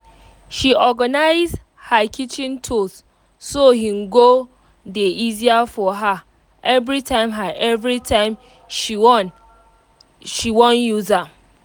she organize her kitchen tools so hin go dey easier for her everytime her everytime she won um use am